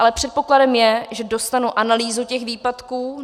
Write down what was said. Ale předpokladem je, že dostanu analýzu těch výpadků.